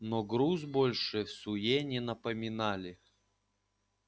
но груз больше всуе не напоминали